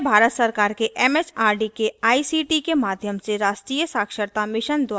यह भारत सरकार के एमएचआरडी के आईसीटी के माध्यम से राष्ट्रीय साक्षरता mission द्वारा समर्थित है